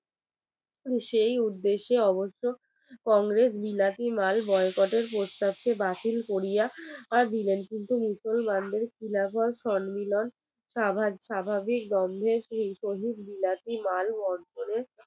কংগ্রেস বিলাতি মাল বয়কটের প্রস্তাবকে বাতিল করিয়া দিলেন কিন্তু তার সম্মেলন স্বাভাবিকভাবে বিরাটি মাল অঞ্চলের